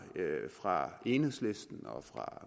lagt fra enhedslistens og